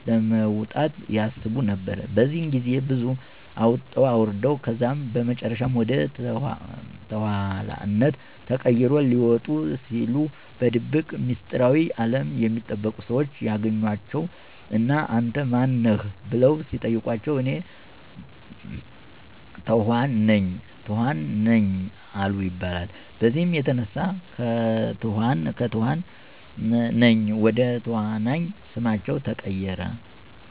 ለመውጣት ያስቡ ነበር። በዚህ ግዜ ብዙ አወጡ አወረዱ ከዛም በመጨረሻም ወደ ተኋንነት ተቀይሮ ሊወጡ ሲሉ በድብቅ ሚስጥራዊ አለም የሚጠበቁ ሰዎች ያገኟቸው እና አንተ ማን ነህ? በለው ሲጠይቋቸው፤ እኔ ተኋን ነኝ አሉ ይባላል። በዚህም የተነሳ ከትኋን ነኝ ወደ ተዋናይ ስማቸው ተቀየረ።